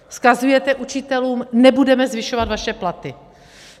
Vzkazujete učitelům: Nebudeme zvyšovat vaše platy.